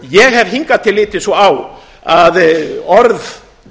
ég hef hingað til litið svo á að orð